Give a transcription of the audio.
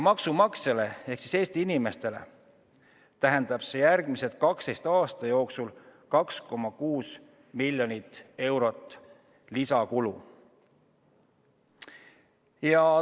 Maksumaksjale ehk Eesti inimestele tähendab see järgmise 12 aasta jooksul 2,6 miljonit eurot lisakulu.